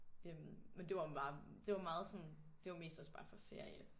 Øh men det var bare det var meget sådan det var mest også bare for ferie